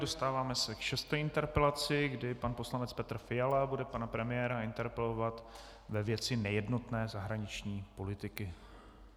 Dostáváme se k šesté interpelaci, kdy pan poslanec Petr Fiala bude pana premiéra interpelovat ve věci nejednotné zahraniční politiky.